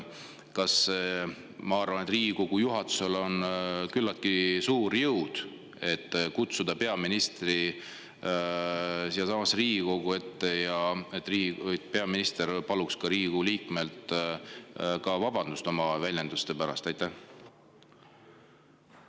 Ma arvan, et Riigikogu juhatusel on küllaltki suur jõud selleks, et kutsuda peaminister Riigikogu ette, et peaminister saaks Riigikogu liikmelt oma välja pärast vabandust paluda.